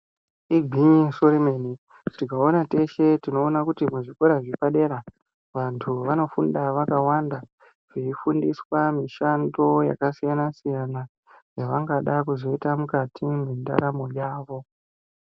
Igwinyiso remene tikaona teshe tinoona kuti muzvikora zvepadera vanthu vanofunda vakawana veifundiswa mishando yakasiyana siyana yavangada kuzoita mukati mwendaramo yavo.